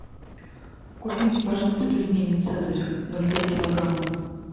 купи мне пожалуйста пельмени цезарь ноль пять килограмма